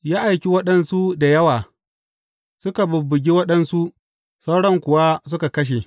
Ya aika waɗansu da yawa; suka bubbuge waɗansu, sauran kuwa suka kashe.